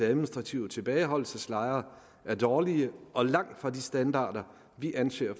administrative tilbageholdelseslejre er dårlige og langt fra de standarder vi anser